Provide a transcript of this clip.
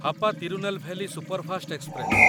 Hapa Tirunelveli superfast express